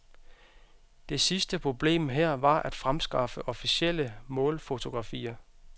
Det sidste problem her var at fremskaffe officielle målfotografier.